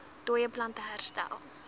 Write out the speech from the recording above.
dooie plante herstel